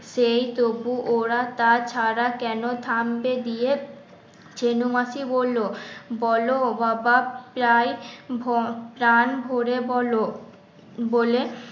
সেই তবু ওরা তা ছাড়া কেন থামবে দিয়ে ছেনু মাসি বললো, বলো বাবা চাই প্রাণ ভরে বলো বলে